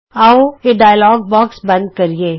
ਆਉ ਇਹ dialog box ਬੰਦ ਕਰੀਏ